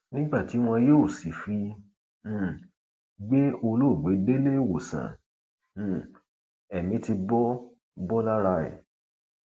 nígbà tí wọn yóò sì fi um gbé olóògbé délé ìwòsàn um ẹmí ti bọ bọ lára ẹ